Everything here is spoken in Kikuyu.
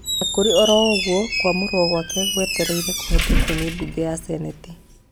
Onakũrĩ oroũguo kwamũrwo gwake gwetereire kũhetũkio nĩ mbunge ya Seneti